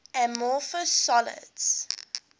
amorphous solids